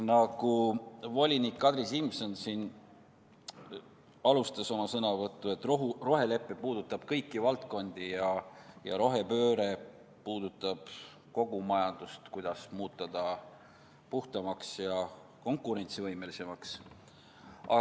Nagu volinik Kadri Simson oma sõnavõtu alguses ütles, rohelepe puudutab kõiki valdkondi, sh kogu majandust, et muuta see puhtamaks ja konkurentsivõimelisemaks.